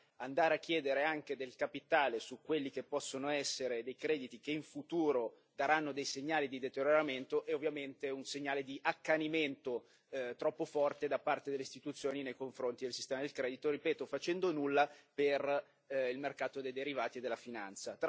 Ora, andare a chiedere anche del capitale su quelli che possono essere dei crediti che in futuro daranno dei segnali di deterioramento è, ovviamente, un segnale di accanimento troppo forte da parte delle istituzioni nei confronti del sistema del credito, ripeto, facendo nulla per il mercato dei derivati e della finanza.